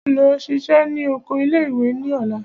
Lọ ṣiṣẹ́ ní oko ilé ìwé ní ọ̀la!